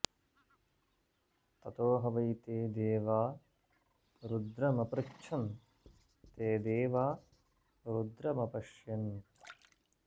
ततो ह वै ते देवा रुद्रमपृच्छन् ते देवा रुद्रमपश्यन्